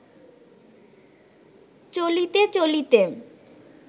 চলিতে চলিতে